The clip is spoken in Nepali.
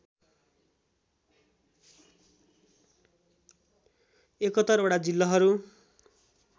७१ वटा जिल्लाहरू